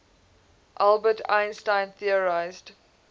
albert einstein theorized